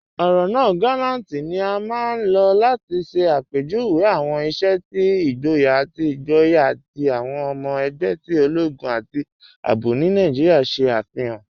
Ọrọ naa "gàlàntì" ni a maa n lọ́ láti ṣẹ̀ apẹjúwé awọn iṣẹ̀ ti igbóyà ati igbóyà ti awọn ọmọ ẹgbẹ̀ ti ologun ati ààbò ni Naijíríà ṣe afihan.